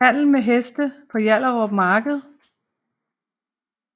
Handel med heste på Hjallerup Marked